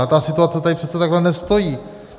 Ale ta situace tady přece takhle nestojí.